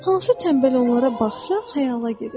Hansı tənbəl onlara baxsa xəyala gedir.